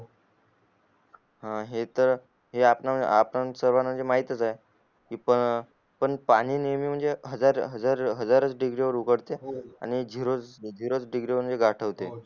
हे त आपल्या सर्वाना माहित त चा आहे इथं पण पाणी नेहमी म्हणजे हजार हजार डिग्री वर चा उगडते आणि जिरो डिग्री वर चा गोठवते